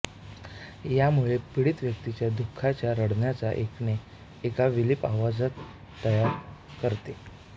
यामुळे पीडित व्यक्तीच्या दु खाच्या रडण्यांचे ऐकणे एक विलाप आवाज तयार करते